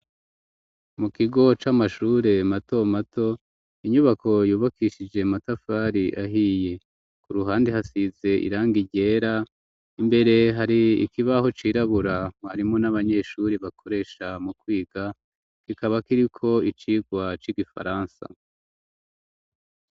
Mu kigo c'amashure, mato mato, inyubako yubakishije, amatafari ahiye; ku ruhande hasize irangi ryera, imbere, hari ikibaho cirabura, mwarimu n'abanyeshuri, bakoresha mu kwiga; kikaba kiriko, icigwa c'igifaransa.